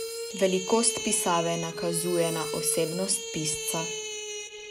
Velikost pisave nakazuje na osebnost pisca.